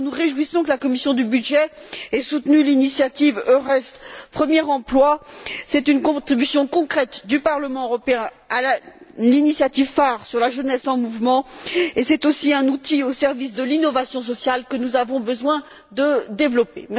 Enfin, nous nous réjouissons que la commission des budgets ait soutenu l'initiative EURES premier emploi, c'est une contribution concrète du Parlement européen à l'initiative phare sur la jeunesse en mouvement et c'est aussi un outil au service de l'innovation sociale que nous avons besoin de développer.